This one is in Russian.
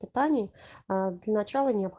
питание для начала